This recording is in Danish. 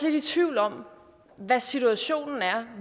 i tvivl om hvad situationen er